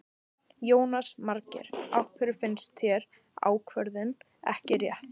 Jónas Margeir: Af hverju finnst þér ákvörðunin ekki rétt?